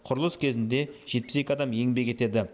құрылыс кезінде жетпіс екі адам еңбек етеді